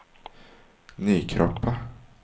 Nykroppa